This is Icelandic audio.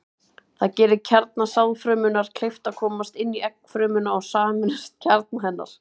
Það gerir kjarna sáðfrumunnar kleift að komast inn í eggfrumuna og sameinast kjarna hennar.